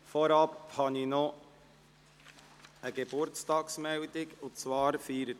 Eingangs habe ich eine Geburtstagsmeldung zu machen.